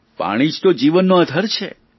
પાણી જ તો જીવનનો આધાર છે